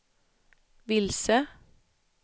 vilse